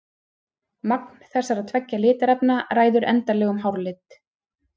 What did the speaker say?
Magn þessara tveggja litarefna ræður endanlegum hárlit.